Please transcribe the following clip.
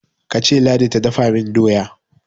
kace ladi ta dafa min doya!